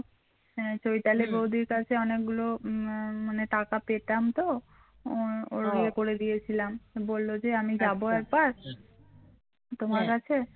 বৌদির কাছে অনেকগুলো মানে টাকা পেতাম তো ওর ইয়ে করে দিয়েছিলাম বলেছে আজ আমি যাব একবার তোমার কাছে